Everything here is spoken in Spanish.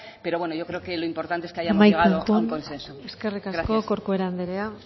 pero bueno yo creo que lo importante es que hayamos llegado a un consenso gracias eskerrik asko corcuera andrea